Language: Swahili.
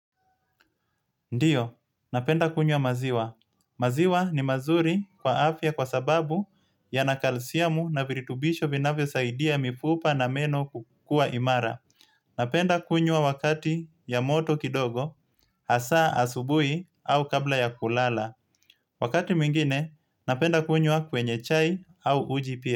Ndiyo, napenda kunywa maziwa. Maziwa ni mazuri kwa afya kwa sababu yana kalsiamu na viritubisho vinavyo saidia mifupa na meno kukuwa imara. Napenda kunywa wakati ya moto kidogo, hasa asubuhi au kabla ya kulala. Wakati mwingine, napenda kunywa kwenye chai au uji pia.